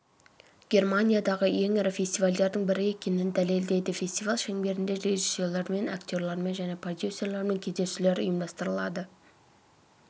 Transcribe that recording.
германиядағы ең ірі фестивальдердің бірі екенін дәлелдейді фестиваль шеңберінде режиссерлермен актерлермен және продюсерлермен кездесулер ұйымдастырылады